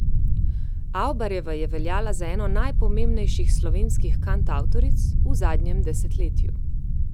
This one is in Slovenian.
Avbarjeva je veljala za eno najpomembnejših slovenskih kantavtoric v zadnjem desetletju.